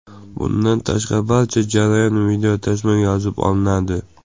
Bundan tashqari, barcha jarayon videotasmaga yozib olinadi.